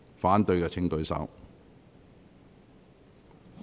反對的請舉手。